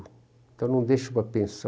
Então, eu não deixo uma pensão